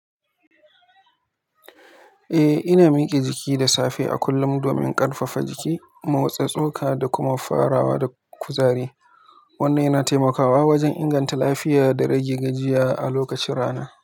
Eh, ina mike jiki da safe a kullum domin ƙarfafa jiki, motsa tsoka da kuma farawa da kuzari. Wannan yana taimakawa wajen inganta lafiya da rage gajiya a lokacin rana.